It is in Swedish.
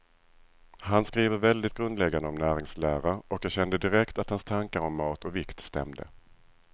Han skriver väldigt grundläggande om näringslära, och jag kände direkt att hans tankar om mat och vikt stämde.